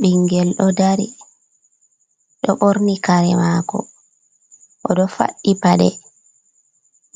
Ɓingel ɗo dari, ɗo ɓorni kare maako, oɗo faɗɗi paɗe,